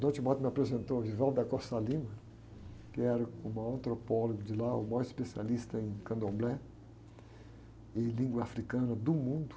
Dom me apresentou ao, que era uh, o maior antropólogo de lá, o maior especialista em candomblé e língua africana do mundo.